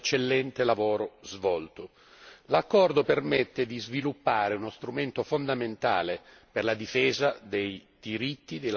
L'accordo permette di sviluppare uno strumento fondamentale per la difesa dei diritti dei lavoratori stagionali immigrati.